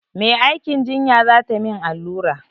Mai aikin jinya za ta min allura.